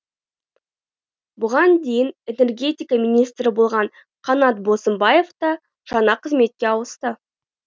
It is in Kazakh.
бұған дейін энергетика министрі болған қанат бозымбаев та жаңа қызметке ауысты